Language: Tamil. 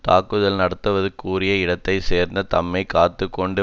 தாக்குதல் நடத்துவதற்குரிய இடத்தையும் தேர்ந்து தம்மையும் காத்து கொண்டு